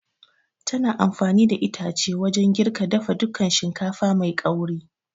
Tana amfani da itace wajan girka dafa dukan shinkafa mai ƙauri